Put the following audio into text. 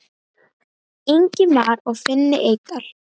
Ingimar og Finni Eydal.